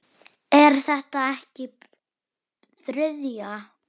Er þetta ekki þriðja?